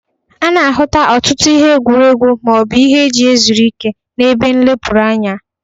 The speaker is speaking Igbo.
A na-ahụta ọtụtụ ihe egwuregwu ma ọ bụ ihe e ji ezuru ike n'ebe nlepụrụ anya.